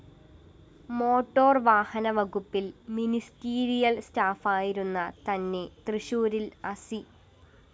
motor വാഹന വകുപ്പില്‍ ministerial സ്റ്റാഫായിരുന്ന തന്നെ തൃശൂരില്‍ അസി